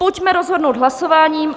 Pojďme rozhodnout hlasováním.